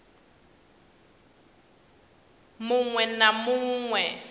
mu ṅ we na mu